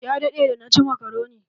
Ya daɗe da na ci makaroni.